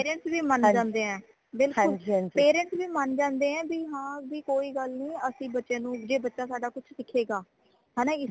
parents ਵੀ ਮਨ ਜਾਂਦੇ ਹੈ ਬਿਲਕੁਲ parents ਵੀ ਮਨ ਜਾਂਦੇ ਹੈ ਬੀ ਹਾਂ ਬੀ ਕੋਈ ਗੱਲ ਨੀ ਅਸੀਂ ਬੱਚੇ ਨੂ ਜੇ ਬੱਚਾ ਸਾਡਾ ਕੁਛ ਸਿੱਖੇਗਾ ਹੈਨਾ